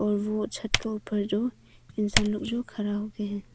और वो छत के ऊपर जो इंसान लोग जो खड़ा हो के हैं।